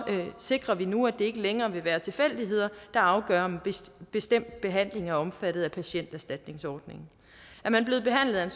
alt sikrer vi nu at det ikke længere vil være tilfældigheder der afgør om en bestemt behandling er omfattet af patienterstatningsordningen er man blevet behandlet af